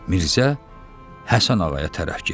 Mirzə Həsən Ağaya tərəf getdi.